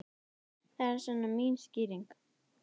Það er svona mín skýring.